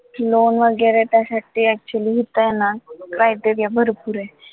loan वैगरे त्यासाठी actually इथे आहे ना criteria भरपूर आहे.